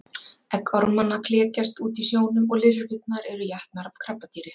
Egg ormanna klekjast út í sjónum og lirfurnar eru étnar af krabbadýri.